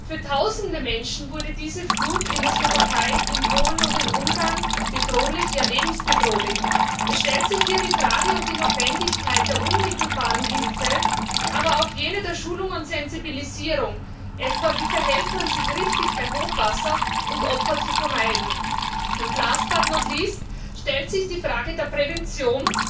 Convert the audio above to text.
Für Tausende Menschen wurde diese Flut in der Slowakei, in Polen und in Ungarn bedrohlich, ja lebensbedrohlich. Es stellt sich hier die Frage und die Notwendigkeit der unmittelbaren Hilfe, aber auch jene der Schulung und Sensibilisierung, etwa wie man sich bei Hochwasser richtig verhält, um Opfer zu vermeiden. Und stellt sich die Frage der Prävention,